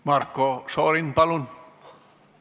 Marko Šorin, palun!